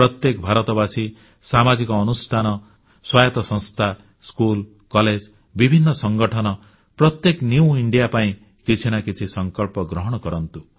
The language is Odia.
ପ୍ରତ୍ୟେକ ଭାରତବାସୀ ସାମାଜିକ ଅନୁଷ୍ଠାନ ସ୍ୱାୟତ୍ତ ସଂସ୍ଥା ସ୍କୁଲ କଲେଜ ବିଭିନ୍ନ ସଂଗଠନ ପ୍ରତ୍ୟେକେ ନ୍ୟୁ ଇଣ୍ଡିଆ ନୂଆ ଭାରତ ପାଇଁ କିଛି ନା କିଛି ସଂକଳ୍ପ ଗ୍ରହଣ କରନ୍ତୁ